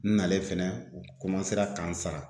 N nalen fɛnɛ u ka n sara.